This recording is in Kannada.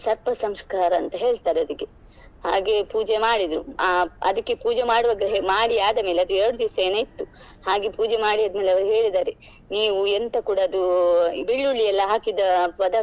ಸರ್ಪ ಸಂಸ್ಕಾರ ಅಂತ ಹೇಳ್ತಾರೆ ಅದಕ್ಕೆ ಹಾಗೆ ಪೂಜೆ ಮಾಡಿದ್ರು ಅ~ ಅದಕ್ಕೆ ಪೂಜೆ ಮಾಡುವಾಗ ಮಾಡಿ ಆದ ಮೇಲೆ ಅದು ಎರಡು ದಿವ್ಸ ಏನಾ ಇತ್ತು ಹಾಗೆ ಪೂಜೆ ಮಾಡಿ ಆದ್ಮೇಲೆ ಅವರು ಹೇಳಿದ್ದಾರೆ ನೀವು ಎಂತ ಕೂಡ ಅದು ಬೆಳ್ಳುಳ್ಳಿ ಎಲ್ಲ ಹಾಕಿದ ಪದಾರ್ಥ.